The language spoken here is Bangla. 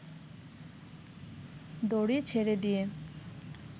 দড়ি ছেড়ে দিয়ে